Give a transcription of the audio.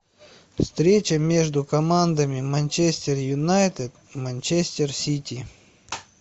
встреча между командами манчестер юнайтед и манчестер сити